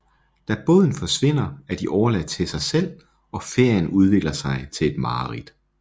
Da båden forsvinder er de overladt til sig selv og ferien udvikler sig til et mareridt